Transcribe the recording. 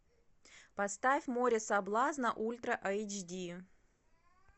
поставь море соблазна ультра айч ди